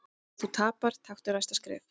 Ef þú tapar, taktu næsta skref.